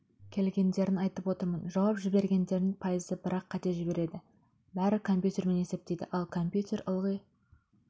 келгендерін айтып отырмын жауап жібергендердің пайызы бірақ қате жібереді бәрі компьютермен есептейді ал компьютер ылғи